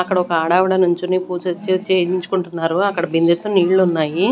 అక్కడొక ఆడావిడ నుంచొని పూజ చే చేయించుకుంటున్నారు అక్కడ బిందెతో నీళ్ళున్నాయి.